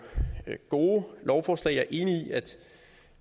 gode lovforslag jeg er enig i at